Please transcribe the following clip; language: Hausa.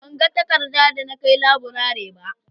Ban ga takarda da na kai laburare ba